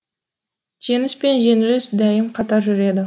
жеңіс пен жеңіліс дәйім қатар жүреді